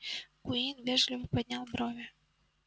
куинн вежливо поднял брови